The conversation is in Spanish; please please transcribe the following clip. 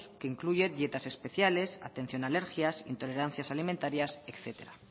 que incluye dietas especiales atención a alergias intolerancias alimentarias etcétera